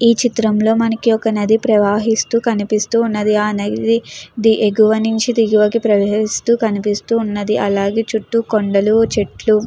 ఈ చిత్రంలో మనకి ఒక నది ప్రవాహిస్తూ కనిపిస్తూ ఉన్నది. ఆ నది ఎగువ నుంచి దిగివకి ప్రవేశిస్తూ కనిపిస్తూ ఉన్నది. అలాగే చుట్టూ కొండలు చెట్లు--